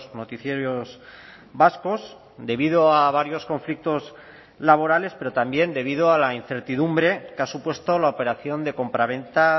noticiarios vascos debido a varios conflictos laborales pero también debido a la incertidumbre que ha supuesto la operación de compraventa